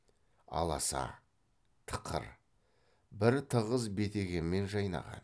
аласа тықыр бір тығыз бетегемен жайнаған